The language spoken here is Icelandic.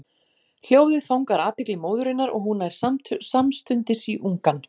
Hljóðið fangar athygli móðurinnar og hún nær samstundis í ungann.